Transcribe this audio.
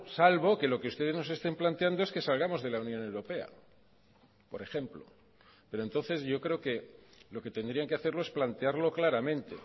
salvo que lo que ustedes nos estén planteando es que salgamos de la unión europea por ejemplo pero entonces yo creo que lo que tendrían que hacerlo es plantearlo claramente